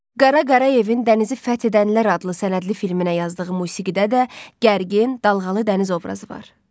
Qara Qarayevin Dənizi fəth edənlər adlı sənədli filminə yazdığı musiqidə də gərgin, dalğalı dəniz obrazı var.